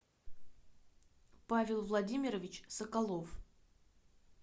павел владимирович соколов